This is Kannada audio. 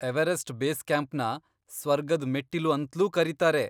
ಎವರೆಸ್ಟ್ ಬೇಸ್ ಕ್ಯಾಂಪ್ನ ಸ್ವರ್ಗದ್ ಮೆಟ್ಟಿಲು ಅಂತ್ಲೂ ಕರೀತಾರೆ.